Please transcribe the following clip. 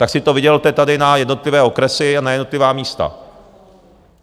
Tak si to vydělte tady na jednotlivé okresy a na jednotlivá místa.